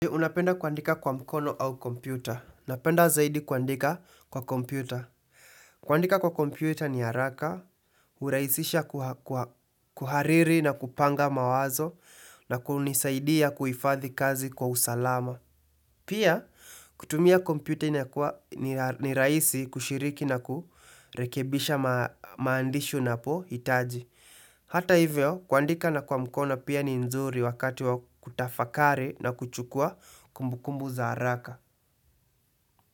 Unapenda kuandika kwa mkono au kompyuta. Napenda zaidi kuandika kwa kompyuta. Kuandika kwa kompyuta ni haraka, huraisisha kuha kuhariri na kupanga mawazo na kunisaidia kuifadhi kazi kwa usalama. Pia, kutumia kompyuta ni ni rahisi kushiriki na kurekebisha maandishi una po hitaji. Hata hivyo kuandika na kwa mkona pia ni nzuri wakati wa kutafakari na kuchukua kumbukumbu za haraka.